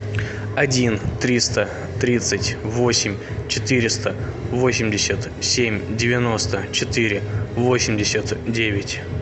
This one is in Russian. один триста тридцать восемь четыреста восемьдесят семь девяносто четыре восемьдесят девять